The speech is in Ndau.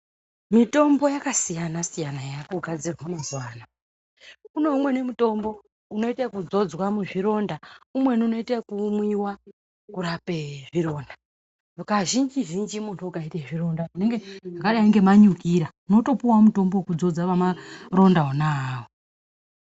Mitombo yakasiyana siyana yakagadzirwa mazuva ano kune umweni mutombo unoita zvekudzodzwa muzvironda umweni unoita yekumwiwa kurapa zvironda kazhinji zhinji ukaita zvironda wakadai manyukira unopuwa mutombo wekuzodza Maronda wona awo.